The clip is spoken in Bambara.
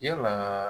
Yalaa